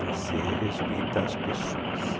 Você respeitar as pessoas.